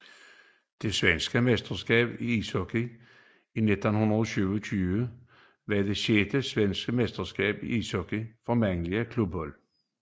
Det svenske mesterskab i ishockey 1927 var det sjette svenske mesterskab i ishockey for mandlige klubhold